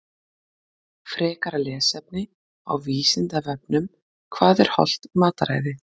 Frekara lesefni á Vísindavefnum Hvað er hollt mataræði?